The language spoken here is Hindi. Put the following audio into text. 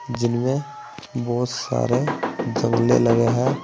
जिनमें बहुत सारे जंगले लगे है।